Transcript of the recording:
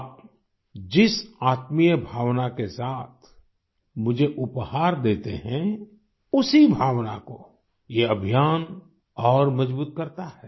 आप जिस आत्मीय भावना के साथ मुझे उपहार देते हैं उसी भावना को ये अभियान और मजबूत करता है